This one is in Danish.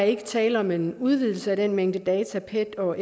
ikke tale om en udvidelse af den mængde data pet og